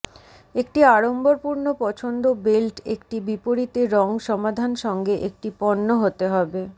একটি আড়ম্বরপূর্ণ পছন্দ বেল্ট একটি বিপরীতে রং সমাধান সঙ্গে একটি পণ্য হতে হবে